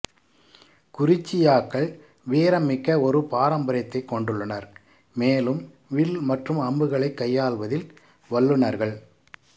குறிச்சியாக்கள் வீரம்மிக்க ஒரு பாரம்பரியத்தைக் கொண்டுள்ளனர் மேலும் வில் மற்றும் அம்புகளை கையால்வதில் வல்லுநர்கள்